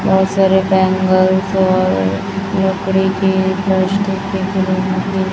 बहोत सारे बैंगल्स और लकड़ी के --